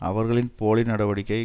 அவர்களின் போலி நடவடிக்கை